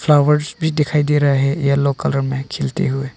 Flowers भी दिखाई दे रहा है येलो कलर में खिलते हुए।